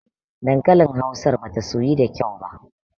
Dankalin hausar bata soyu da kyau ba.